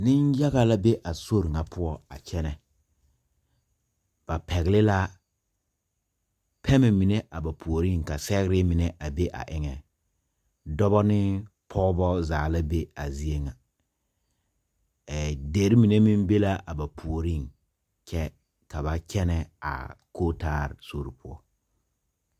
Ninyaga la be a sori nga pou a kyene ba pɛgli la pemmɛ mene a ba poɔring ka segrɛ mene a be a engan dɔba ne pɔgba zaa la be a zeɛ nga deri mene meng be la ba poɔring kye ka ba kyena a kotaal sori puo.